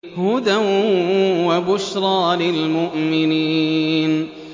هُدًى وَبُشْرَىٰ لِلْمُؤْمِنِينَ